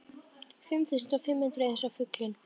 Fimm þúsund og fimm hundruð eins og fuglinn.